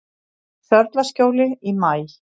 Sörlaskjóli í maí